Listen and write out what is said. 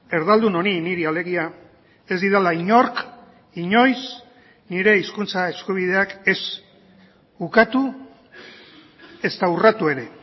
erdaldun honi niri alegia ez didala inork inoiz nire hizkuntza eskubideak ez ukatu ezta urratu ere